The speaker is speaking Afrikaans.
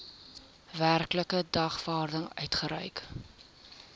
werklike dagvaarding uitgereik